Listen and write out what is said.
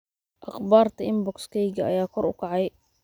aqbaarta inbox kayga ayaa kor u kacay